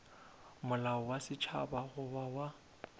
molao wa setšhaba goba wa